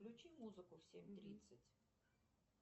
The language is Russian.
включи музыку в семь тридцать